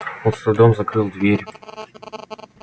он с трудом закрыл дверь